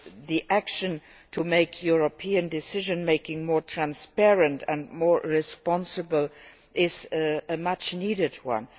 The action to make European decision making more transparent and more responsible is a much needed one.